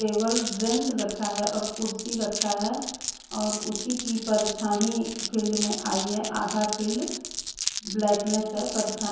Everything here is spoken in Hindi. टेबल ब्रेंच रखा है और कुर्सी रखा है और उसी की परछाहीं फील्ड में आई है आधा फील्ड ब्लैकनेस है परछा --